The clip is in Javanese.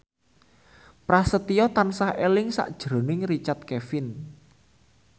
Prasetyo tansah eling sakjroning Richard Kevin